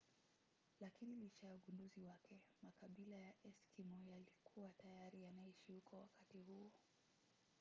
lakina licha ya ugunduzi wake makabila ya eskimo yalikuwa tayari yanaishi huko wakati huo